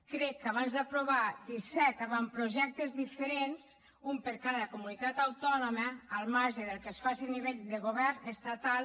crec que aprovar disset avantprojectes diferents un per a cada comunitat autònoma al marge del que es faci a nivell de govern estatal